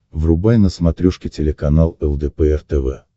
врубай на смотрешке телеканал лдпр тв